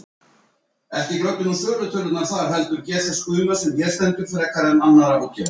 Á eftir munum við koma með frétt um leiki kvöldsins í deildabikarnum.